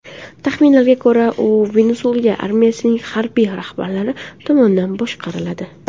Taxminlarga ko‘ra, u Venesuela armiyasining harbiy rahbarlari tomonidan boshqariladi.